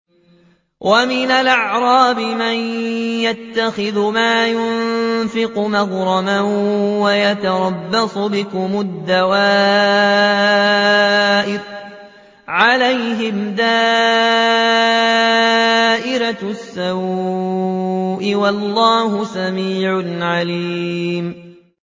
وَمِنَ الْأَعْرَابِ مَن يَتَّخِذُ مَا يُنفِقُ مَغْرَمًا وَيَتَرَبَّصُ بِكُمُ الدَّوَائِرَ ۚ عَلَيْهِمْ دَائِرَةُ السَّوْءِ ۗ وَاللَّهُ سَمِيعٌ عَلِيمٌ